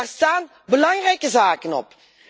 En daar staan belangrijke zaken op.